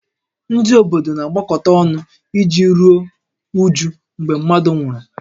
Ndị obodo na-agbakọta ọnụ iji ruo újú mgbe mmadụ nwụrụ